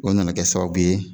O nana kɛ sababu ye.